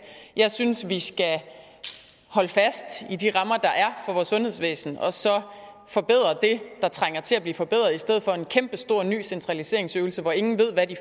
jeg synes vi skal holde fast i de rammer der er for vores sundhedsvæsen og så forbedre det der trænger til at blive forbedret i stedet for en kæmpestor ny centraliseringensøvelse hvor ingen ved hvad de